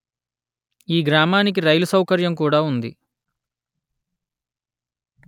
ఈ గ్రామానికి రైలు సౌకర్యం కూడా ఉంది